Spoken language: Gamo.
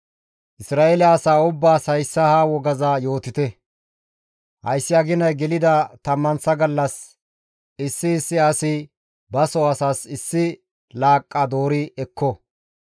Isra7eele asaa ubbaas hayssa ha wogaza yootite; hayssi aginay gelida tammanththa gallas, issi issi asi ba soo asas issi laaqqa doori ekko.